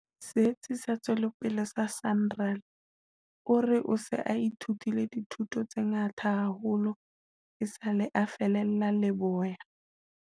Setsi sa Tswe lopele sa SANRAL, o re o se a ithutile dithuto tse ngata haholo esale a fallela leboya.